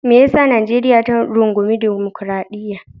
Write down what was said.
Me ya sa Najeriya ta rungumi dimokradiyya?